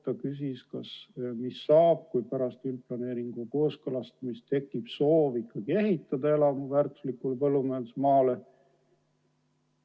Ta küsis, mis saab, kui pärast üldplaneeringu kooskõlastamist tekib soov ehitada elamu väärtuslikule põllumajandusmaale.